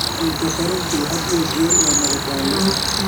Cunto karintu had iyo jeer waa madadaalo.